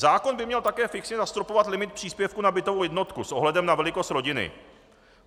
Zákon by měl také fixně zastropovat limit příspěvku na bytovou jednotku s ohledem na velikost rodiny.